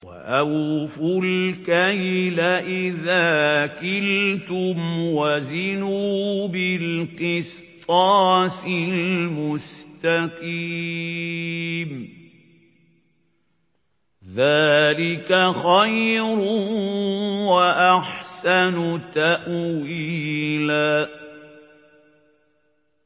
وَأَوْفُوا الْكَيْلَ إِذَا كِلْتُمْ وَزِنُوا بِالْقِسْطَاسِ الْمُسْتَقِيمِ ۚ ذَٰلِكَ خَيْرٌ وَأَحْسَنُ تَأْوِيلًا